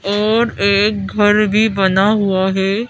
और एक घर भी बना हुआ है।